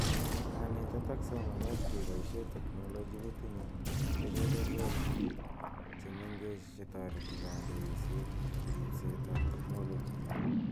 Kanetet ak somanet keboishe teknoloji kotinye kebeberwek chemengechen chetoreti kandoiset ak ribset ab teknoloji